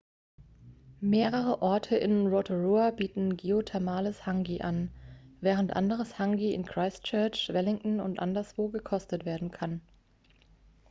mehrere orte in rotorua bieten geothermales hangi an während anderes hangi in christchurch wellington und anderswo gekostet werden kann